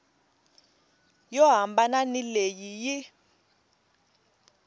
yo hambana ni leyi yi